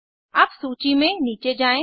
अब सूची में नीचे जायें